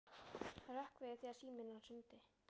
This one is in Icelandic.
Hann hrökk við þegar síminn hans hringdi.